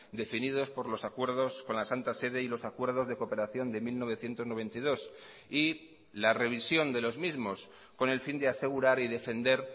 definidos por los acuerdos con la santa sede y los acuerdos de cooperación de mil novecientos noventa y dos y la revisión de los mismos con el fin de asegurar y defender